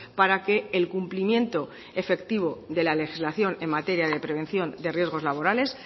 para que el cumplimiento efectivo de la legislación en materia de prevención de riesgos laborales